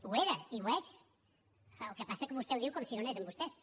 ho era i ho és el que passa és que vostè ho diu com si no anés amb vostès